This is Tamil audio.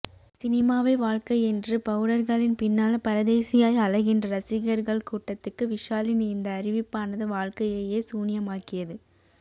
சினிமாவே வாழ்க்கை என்று பவுடர்களின் பின்னால் பரதேசியாய் அலைகின்ற ரசிகர்கள் கூட்டத்துக்கு விஷாலின் இந்த அறிவிப்பானது வாழ்க்கையையே சூன்யமாக்கியது